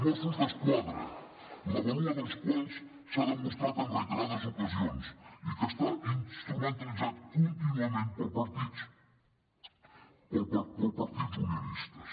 mossos d’esquadra la vàlua dels quals s’ha demostrat en reiterades ocasions i que està instrumentalitzat contínuament pels partits unionistes